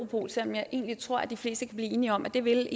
europol selv om jeg egentlig tror at de fleste kan blive enige om at det ville